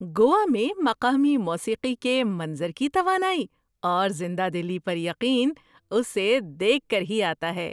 گوا میں مقامی موسیقی کے منظر کی توانائی اور زندہ دلی پر یقین اسے دیکھ کر ہی آتا ہے۔